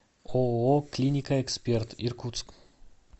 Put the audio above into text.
ооо клиника эксперт иркутск